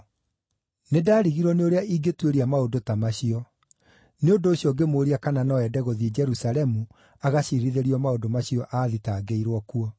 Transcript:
Nĩndarigirwo nĩ ũrĩa ingĩtuĩria maũndũ ta macio; nĩ ũndũ ũcio ngĩmũũria kana no eende gũthiĩ Jerusalemu agaciirithĩrio maũndũ macio aathitangĩirwo kuo.